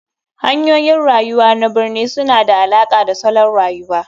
Hanyoyin rayuwa na birni suna da alaƙa da salon rayuwa.